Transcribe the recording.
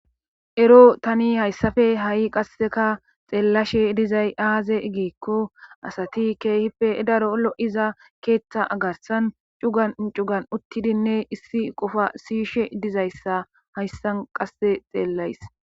ero tani hayssafe ha7i qasseka xeellashe dizay aaze giikko asati keehippe daro lo7iza keeththa agarsan cugan cugan uttidinne issi qofa siyishe dizayssa hayssan qasse xeellays